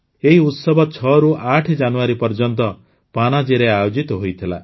ଏହି ଉତ୍ସବ ୬ରୁ ୮ ଜାନୁଆରୀ ପର୍ଯ୍ୟନ୍ତ ପଣଜୀରେ ଆୟୋଜିତ ହୋଇଥିଲା